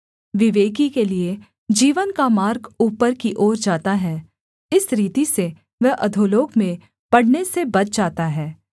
विवेकी के लिये जीवन का मार्ग ऊपर की ओर जाता है इस रीति से वह अधोलोक में पड़ने से बच जाता है